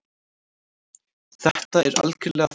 Þetta er algjörlega fáránlegt.